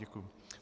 Děkuji.